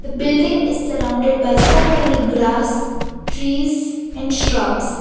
the building is surrounded by so many grass trees and shrubs.